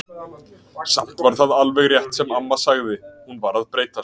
Samt var það alveg rétt sem amma sagði, hún var að breytast.